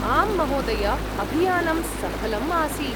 आम् महोदय, अभियानं सफलम् आसीत्।